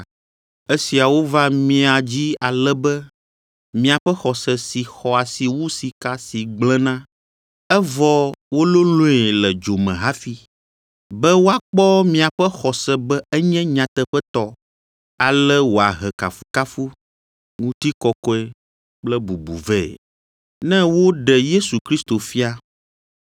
Esiawo va mia dzi ale be miaƒe xɔse si xɔ asi wu sika si gblẽna, evɔ wololõe le dzo me hafi, be woakpɔ miaƒe xɔse be enye nyateƒetɔ, ale wòahe kafukafu, ŋutikɔkɔe kple bubu vɛ, ne woɖe Yesu Kristo fia.